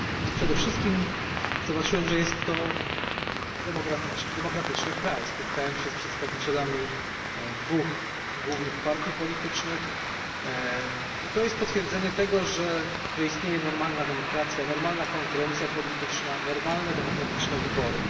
Przede wszystkim zobaczyłem, że jest to kraj demokratyczny. Spotkałem się z przedstawicielami dwóch głównych partii politycznych, co jest potwierdzeniem tego, że istnieje tam normalna demokracja, normalna konkurencja polityczna, normalne demokratyczne wybory.